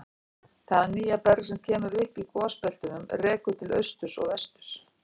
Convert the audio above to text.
Það nýja berg sem kemur upp í gosbeltunum rekur til austurs og vesturs.